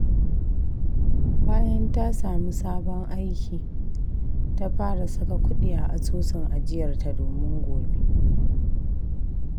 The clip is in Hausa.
Bayan ta sami sabon aiki, ta fara saka kudi a asusun ajiyarta domin gobe.